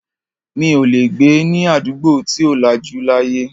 Mi ò lè gbé ní àdúgbò tí ò lajú láyé.